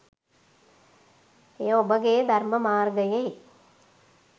එය ඔබගේ ධර්ම මාර්ගයේ